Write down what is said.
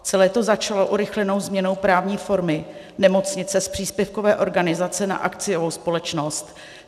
Celé to začalo urychlenou změnou právní formy nemocnice z příspěvkové organizace na akciovou společnost.